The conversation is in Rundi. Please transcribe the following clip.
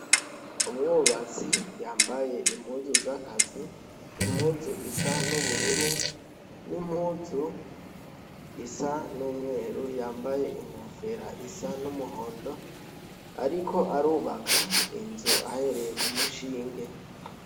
Umwubatsi yambaye impuzu zakazi impuzu isa n'ubururu n'impuzu isa n'umweru yambaye inkufera isa n'umuhondo, ariko arubaka inzu ahereye ku mushinge.